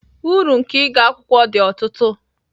Uru nke ịga akwụkwọ dị ọtụtụ